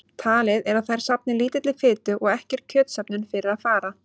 Talið er að þær safni lítilli fitu og ekki er kjötsöfnun fyrir að fara.